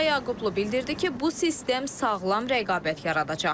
Vəfa Yaqublu bildirdi ki, bu sistem sağlam rəqabət yaradacaq.